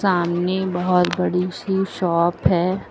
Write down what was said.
सामने बहुत बड़ी सी शॉप है।